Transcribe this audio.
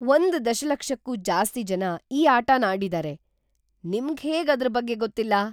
ಒಂದ್ ದಶಲಕ್ಷಕ್ಕೂ ಜಾಸ್ತಿ ಜನ ಈ ಆಟನ ಆಡಿದಾರೆ. ನಿಮ್ಗ್‌ ಹೇಗ್ ಅದ್ರ ಬಗ್ಗೆ ಗೊತ್ತಿಲ್ಲ?